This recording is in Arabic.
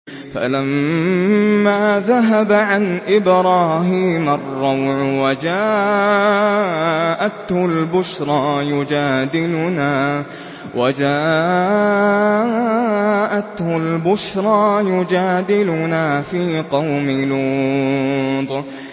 فَلَمَّا ذَهَبَ عَنْ إِبْرَاهِيمَ الرَّوْعُ وَجَاءَتْهُ الْبُشْرَىٰ يُجَادِلُنَا فِي قَوْمِ لُوطٍ